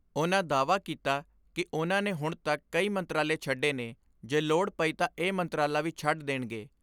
ਉਨ੍ਹਾਂ ਦਾਅਵਾ ਕੀਤਾ ਕਿ ਉਨ੍ਹਾਂ ਨੇ ਹੁਣ ਤੱਕ ਕਈ ਮੰਤਰਾਲੇ ਛੱਡੇ ਨੇ ਜੇ ਲੋੜ ਪਈ ਤਾਂ ਇਹ ਮੰਤਰਾਲਾ ਵੀ ਛੱਡ ਦੇਣਗੇ।